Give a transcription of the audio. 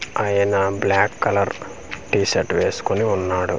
ఆయన black colour T shirt వేస్కొని ఉన్నాడు.